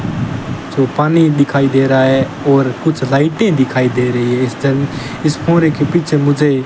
जो पानी दिखाई दे रहा है और कुछ लाइटे दिखाई दे रही है इस जंग इस कोहरे के पीछे मुझे --